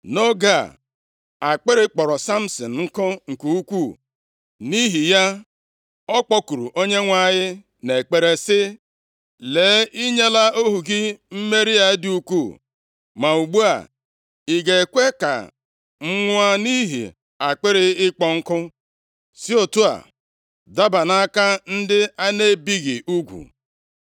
Nʼoge a, akpịrị kpọrọ Samsin nkụ nke ukwuu, nʼihi ya, ọ kpọkuru Onyenwe anyị nʼekpere sị, “Lee, i nyela ohu gị mmeri a dị ukwuu! Ma ugbu a, ị ga-ekwe ka m nwụọ nʼihi akpịrị ịkpọ nku, si otu a daba nʼaka ndị a na-ebighị ugwu?”